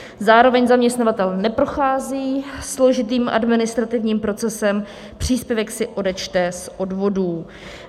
Zároveň zaměstnavatel neprochází složitým administrativním procesem, příspěvek si odečte z odvodů.